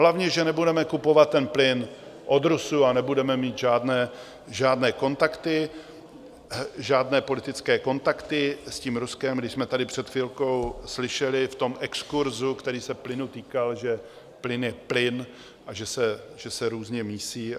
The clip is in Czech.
Hlavně, že nebudeme kupovat ten plyn od Rusů a nebudeme mít žádné kontakty, žádné politické kontakty s tím Ruskem, když jsme tady před chvilkou slyšeli v tom exkurzu, který se plynu týkal, že plyn je plyn a že se různě mísí.